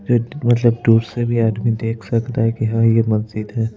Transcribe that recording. मतलब दूर से भी आदमी देख सकता है कि यह मस्जिद है।